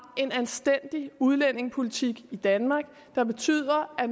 en anstændig udlændingepolitik i danmark der betyder at